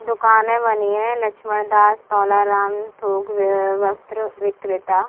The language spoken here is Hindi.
दुकाने बनी है लक्ष्मण दास तोलाराम थोक वस्त्र विक्रेता।